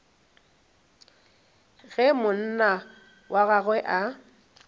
ge monna wa gagwe a